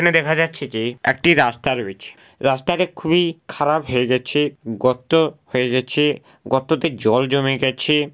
এখানে দেখা যাচ্ছে যে একটি রাস্তা রয়েছে রাস্তাটা খুবই-ই খারাপ হয়ে গেছে-এ গর্ত-অ হয়ে গেছে-এ গর্ততে জল জমে গেছে-এ--